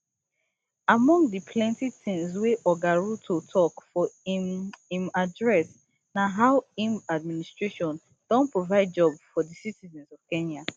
among di plenti tins wey oga ruto tok for im im address na how im administration don provide job for di citizens of kenya